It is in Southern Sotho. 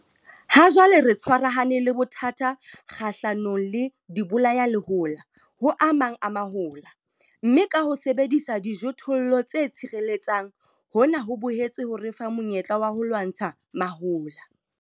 Hajwale re tshwarahane le bothata kgahlanong le dibolayalehola ho a mang a mahola, mme ka ho sebedisa dijothollo tse tshireletsang, hona ho boetse ho re fa monyetla wa ho lwantsha mahola.